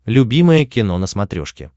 любимое кино на смотрешке